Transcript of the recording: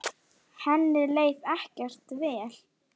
Henni leið ekkert vel.